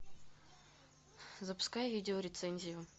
запускай видеорецензию